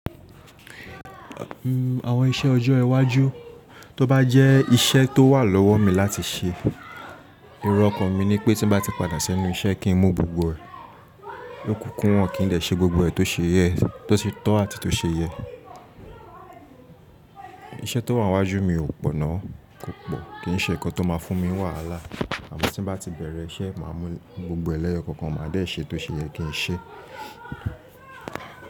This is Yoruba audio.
Àwọn iṣẹ́ ọjọ́ iwájú toba jẹ iṣẹ́ tó wà lọ́wọ́ mi láti ṣe ẹ̀rọ ọkàn mi ni pé tin bati padà s'ẹnu iṣẹ́ kin mu gbogbo ẹ l'ọkunkundun kin dẹ ṣe gbogbo e tó ṣe yẹ kin dẹ ṣe gbogbo e tó ṣe tọ àti tó ṣe yẹ iṣẹ́ tó wa m'waju mi ò pọ̀ náà, kò pọ̀. Kìí ṣe ǹkan tó ma fún mi ní wàhálà àmọ́ ti mo bati bẹ̀rẹ̀ iṣẹ́ máa mi gbogbo ẹ l'eyokọọkan ma dẹ ṣe tose yẹ kin ṣe.